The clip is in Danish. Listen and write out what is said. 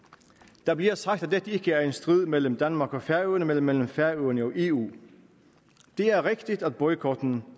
der bliver sagt at dette ikke er en strid mellem danmark og færøerne men mellem færøerne og eu det er rigtigt at boykotten